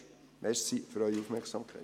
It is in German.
Danke für Ihre Aufmerksamkeit.